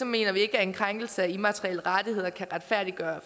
mener vi ikke at en krænkelse af immaterielle rettigheder kan retfærdiggøre